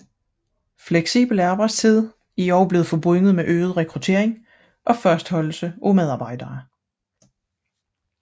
Fleksibel arbejdstid er også blevet forbundet med øget rekruttering og fastholdelse af medarbejdere